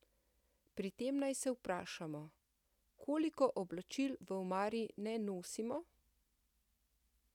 Pri tem naj se vprašamo: "Koliko oblačil v omari ne nosimo?